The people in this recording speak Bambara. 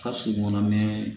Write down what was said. Ka sokɔnɔ mɛ